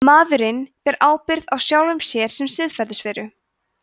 maðurinn ber ábyrgð á sjálfum sér sem siðferðisveru